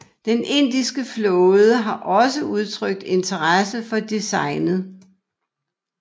Den indiske flåde har også udtrykt interesse for designet